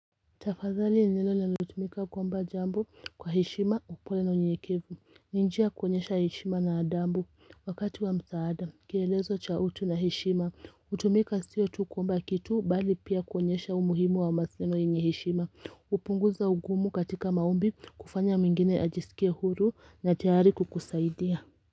Tafadhali ni neno linalotumika kusema jambo kwa hishima kwa upole na unyenyekevu, ni njia ya konyesha heshima na adabu wakati wa msaada kielelezo cha utu na hishima hutumika sio tu kuomba kitu bali pia konyesha umuhimu wa mahusiano yeneye heshima hupunguza ugumu katika maombi, kufanya mwingine ajisikie huru na tayari kukusaidia.